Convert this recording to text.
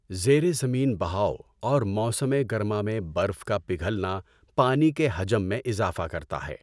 زیر زمین بہاؤ اور موسم گرما میں برف کا پگھلنا پانی کے حجم میں اضافہ کرتا ہے۔